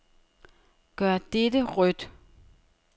Gør dette rødt.